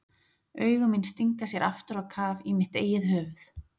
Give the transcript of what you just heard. Augu mín stinga sér aftur á kaf í mitt eigið höfuð.